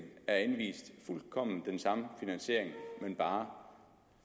er anvist fuldkommen den samme finansiering men bare